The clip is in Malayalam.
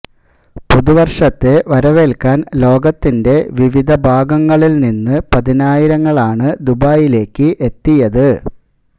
പുതുവര്ഷത്തെ വരവേല്ക്കാന് ലോകത്തിന്റെ വിവിധ ഭാഗങ്ങളില് നിന്ന് പതിനായിരങ്ങളാണ് ദുബായിലേക്ക് എത്തിയത്